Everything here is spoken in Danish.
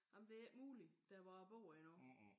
Jamen det er ikke muligt der hvor jeg bor endnu